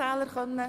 Guten Morgen.